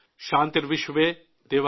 शान्ति शान्ति।।